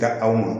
Ka aw ma